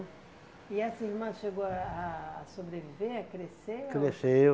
E essa irmã chegou a a sobreviver, a crescer? Cresceu.